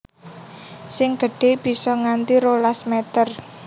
Sing gedhe bisa nganti rolas meter